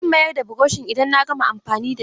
Zan mayar da burushin idan na gama amfani da shi.